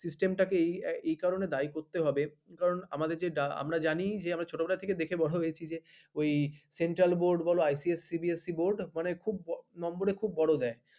system এই এই কারণে দায়ী করতে হবে কারণ আমাদের যেটা আমরা জানি ছতবেলা থেকে দেখে বড় হয়েছি ওই central board icsc cbsc board মানে number খুব বড় দেয় ।